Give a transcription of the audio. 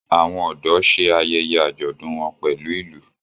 Àwọn ọ̀dọ́ ṣe ayẹyẹ àjọ̀dún wọn pẹlu ìlú.